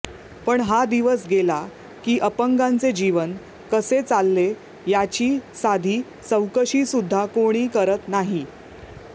पण हा दिवस गेला की अपंगांचे जीवन कसे चालले याची साधी चौकशीसुद्धा कोणी करीत नाही